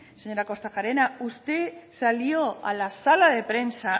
señora kortajarena usted salió a la sala de prensa